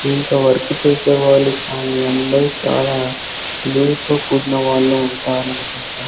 ఇంత వర్క్ చేసేవాళ్ళు కానీ అందరూ చాలా విధేయతతో కూడిన వాళ్ళు ఉంటారు అనుకుంటా.